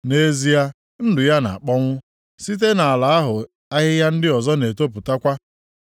Nʼezie, ndụ ya na-akpọnwụ, site nʼala ahụ ahịhịa ndị ọzọ na-etopụtakwa.